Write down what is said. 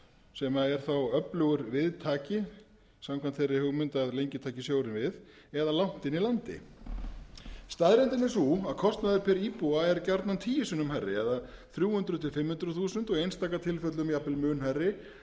sem er þá öflugur viðtaki samkvæmt þeirri hugmynd að lengi taki sjórinn við eða langt inni í landi staðreyndin er sú að kostnaður per íbúa er gjarnan tíu sinnum hærri eða þrjú hundruð til fimm hundruð þúsund og í einstaka tilfellum jafnvel mun hærri jafnvel